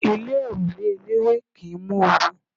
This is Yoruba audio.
Ilé òrùlé eléwé kì ń mú oru.